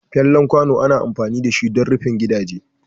Fallen kwano ana amfani dashi dan rufin gidaje.